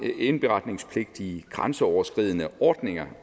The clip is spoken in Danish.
indberetningspligt i grænseoverskridende ordninger